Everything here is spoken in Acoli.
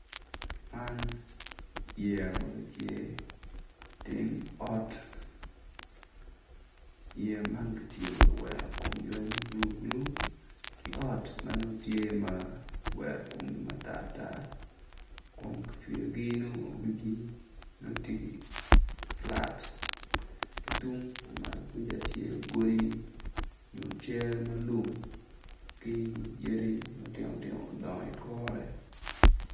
Man yeya ma gitye i teng ot yeya man kono tye ma kiwero komgi ma bululu ki ot ma nongo kiwero komgi ma tartar kun kicweyo wigi ma tye flat ki tung ku malo kuca tye godi ma yen matinotino odongo i kore.